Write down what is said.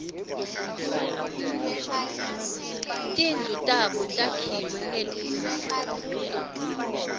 timdlu tabo takhkue ngelidzaka